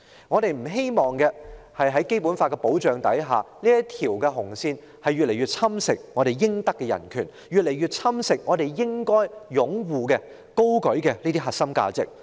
我們不希望在《基本法》的保障下，這條"紅線"逐步侵蝕我們應享的人權，逐步侵蝕我們應該擁護、高舉的核心價值。